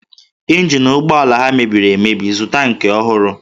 Ịnjin ụgbọala ha mebiri emebi, zụta nke ọhụrụ!